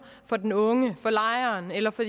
for den unge for lejeren eller for